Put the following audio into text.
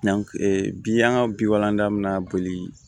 bi an ka bi walandan mina boli